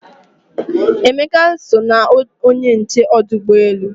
Emeka so na onye nche ọdụ ụgbọ elu